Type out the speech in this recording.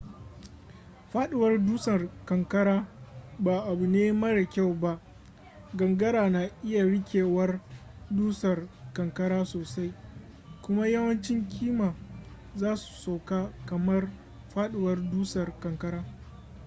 faduwar dusar kankara ba abu ne mara kyau ba gangara na iya rikewar dusar kankara sosai kuma yawancin kima za su sauko kamar faduwar dusar kankara